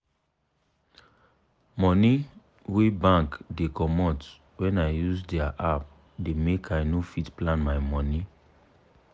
money wey bank da comot when i use dia app da make i no fit plan my money